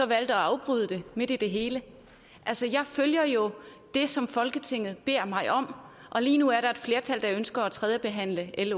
valgte at afbryde det midt i det hele altså jeg følger jo det som folketinget beder mig om og lige nu er der et flertal der ønsker at tredjebehandle l